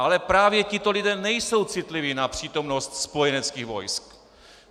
Ale právě tito lidé nejsou citliví na přítomnost spojeneckých vojsk.